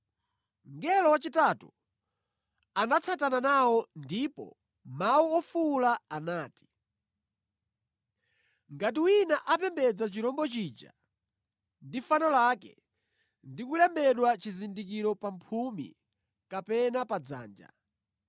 Mngelo wachitatu anatsatana nawo ndi mawu ofuwula anati, “Ngati wina apembedza chirombo chija ndi fano lake ndi kulembedwa chizindikiro pa mphumi kapena pa dzanja,